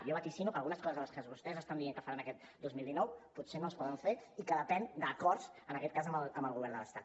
jo vaticino que algunes coses de les que vostès estan dient que faran aquest dos mil dinou potser no es poden fer i que depenen d’acords en aquest cas amb el govern de l’estat